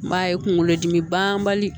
N b'a ye kunkolodimi banbali